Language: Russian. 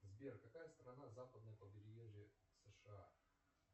сбер какая страна западное побережье сша